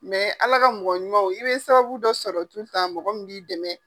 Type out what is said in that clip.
ala ka mɔgɔ ɲumanw, i be sababu dɔ sɔrɔ mɔgɔ min b'i dɛmɛ.